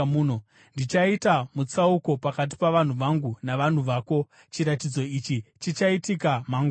Ndichaita mutsauko pakati pavanhu vangu navanhu vako. Chiratidzo ichi chichaitika mangwana.’ ”